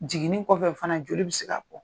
Jiginin kɔfɛ fana joli bɛ se ka bɔ.